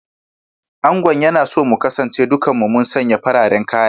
Angon yana so mu kasance dukan mu mun sanye fararen kaya